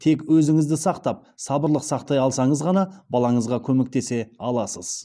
тек өзіңізді сақтап сабырлық сақтай алсаңыз ғана балаңызға көмектесе аласыз